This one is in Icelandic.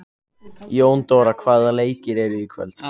Jóndóra, hvaða leikir eru í kvöld?